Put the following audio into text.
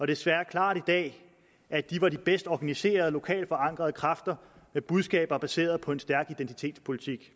desværre klart i dag at de var de bedst organiserede lokalt forankrede kræfter med budskaber baseret på en stærk identitetspolitik